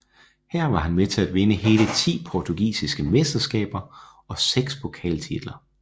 Her var han med til at vinde hele ti portugisiske mesteskaber og seks pokaltitler